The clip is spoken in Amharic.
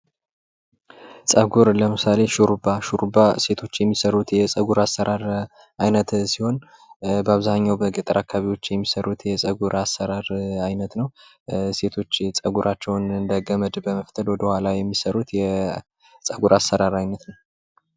ፀጉር ለምሳሌ ሹርባ ሹርባ ሴቶች የሚሰሩት የፀጉር አሰራር አይነት ሲሆን በአብዛኛው በገጠር አካባቢዎች የሚሠሩት የፀጉር አሰራር አይነት ነው። ሴቶች የፀጉራቸውን እንደገመድ በመፍተል ወደ ኋላ የሚሠሩት የፀጉር አሰራር አይነት ነው።